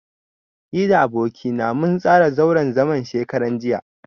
Ni da aboki na mun tsara zauren zaman shekaran jiya.